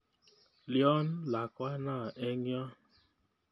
Lyon lakwana eng' yo?